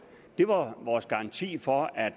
det var vores garanti for at